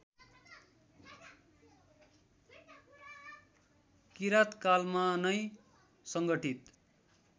किराँतकालमा नै सङ्गठित